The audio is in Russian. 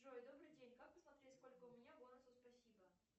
джой добрый день как посмотреть сколько у меня бонусов спасибо